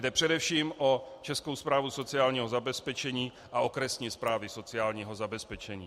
Jde především o Českou správu sociálního zabezpečení a okresní správy sociálního zabezpečení.